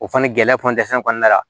O fana gɛlɛya pɔntensɔn kɔnɔna la